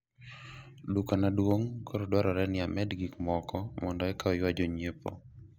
duka na duong' koro dwarore ni amed gik moko mondo eka oywa jonyiepo